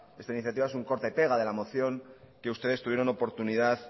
esta iniciativa es un corte y pega de la moción que ustedes tuvieron oportunidad